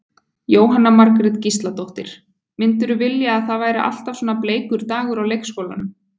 Jóhanna Margrét Gísladóttir: Myndirðu vilja að það væri alltaf svona bleikur dagur á leikskólanum?